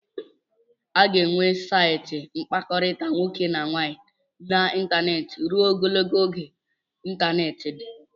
A ga-enwe saịtị mkpakọrịta nwoke na nwaanyị n'ịntanetị ruo Ogologo oge ịntanetị dị